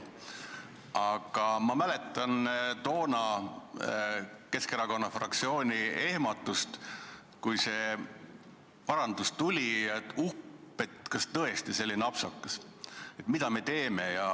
Aga ma mäletan toonast Keskerakonna fraktsiooni ehmatust, kui see parandus tuli, et kas tõesti selline apsakas ja mida me teeme.